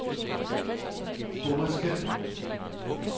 Bommerskald